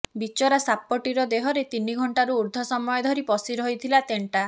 ବିଚରା ସାପଟିରେ ଦେହରେ ତିନି ଘଣ୍ଟାରୁ ଉର୍ଦ୍ଧ୍ବ ସମୟ ଧରି ପଶି ରହିଥିଲା ତେଣ୍ଟା